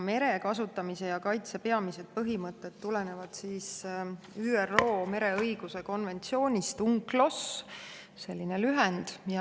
Mere kasutamise ja kaitse peamised põhimõtted tulenevad ÜRO mereõiguse konventsioonist UNCLOS, selline lühend.